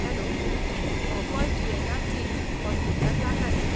Hello! हो call GNRC. हॉस्पिटलाक लागला न्ही?